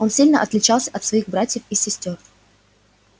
он сильно отличался от своих братьев и сестёр